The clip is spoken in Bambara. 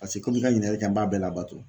Paseke komi i ka ɲininkali kɛ n b'a bɛɛ labato.